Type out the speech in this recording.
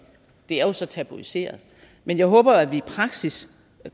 det er jo så tabuiseret men jeg håber at vi i praksis